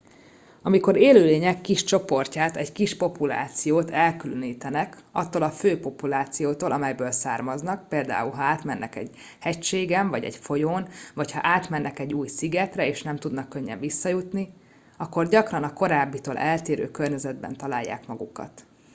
amikor élőlények kis csoportját egy kis populációt elkülönítenek attól a fő populációtól amelyből származnak például ha átmennek egy hegységen vagy egy folyón vagy ha átmennek egy új szigetre és nem tudnak könnyen visszajutni akkor gyakran a korábbitól eltérő környezetben találják magukat